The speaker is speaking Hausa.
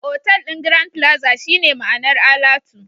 Otal ɗin Grand plaza shine ma'anar alatu